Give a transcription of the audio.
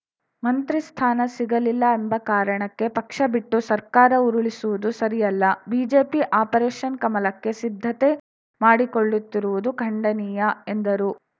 ಮಂತ್ರಿ ಸ್ಥಾನ ಸಿಗಲಿಲ್ಲ ಎಂಬ ಕಾರಣಕ್ಕೆ ಪಕ್ಷ ಬಿಟ್ಟು ಸರ್ಕಾರ ಉರುಳಿಸುವುದು ಸರಿಯಲ್ಲ ಬಿಜೆಪಿ ಆಪರೇಶನ್‌ ಕಮಲಕ್ಕೆ ಸಿದ್ಧತೆ ಮಾಡಿಕೊಳ್ಳುತ್ತಿರುವುದು ಖಂಡನೀಯ ಎಂದರು